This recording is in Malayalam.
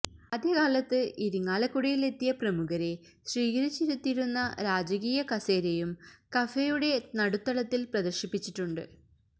ആദ്യകാലത്ത് ഇരിങ്ങാലക്കുടയിൽ എത്തിയ പ്രമുഖരെ സ്വീകരിച്ചിരുത്തിയിരുന്ന രാജകീയ കസേരയും കഫേയുടെ നടുത്തളത്തിൽ പ്രദർശിപ്പിച്ചുണ്ട്